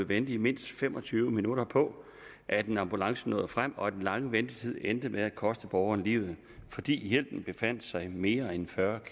vente i mindst fem og tyve minutter på at en ambulance nåede frem og at den lange ventetid endte med at koste borgeren livet fordi hjælpen befandt sig mere end fyrre